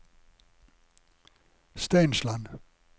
Steinsland